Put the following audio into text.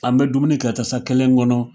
An be dumuni kɛ tasa kelen kɔnɔ